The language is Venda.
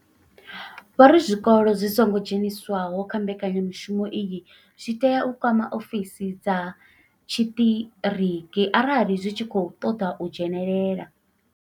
Vho ri zwikolo zwi songo dzheniswaho kha mbekanya mushumo iyi zwi tea u kwama ofisi dza tshiṱiriki arali zwi tshi khou ṱoḓa u dzhenela.